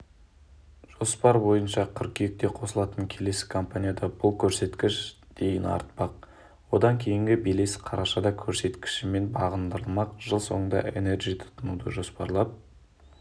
жоспар бойынша қыркүйекте қосылатын келесі компанияда бұл көрсеткіш дейін артпақ одан кейінгі белес қарашада көрсеткішімен бағындырылмақ жыл соңында энерджи тұтынуды жоспарлап